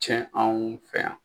Cɛn anw fɛ yan.